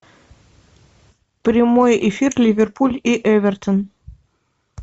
прямой эфир ливерпуль и эвертон